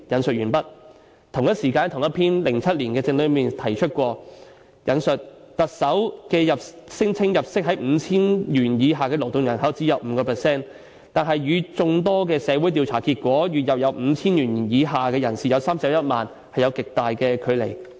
"在同一篇2007年的政論內提過："特首聲稱入息在 5,000 元以下的勞動人口只有 5%， 但與眾多的社會調查結果：月入 5,000 元以下的人士有31萬，有極大距離。